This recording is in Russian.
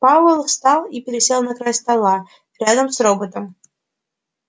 пауэлл встал и пересел на край стола рядом с роботом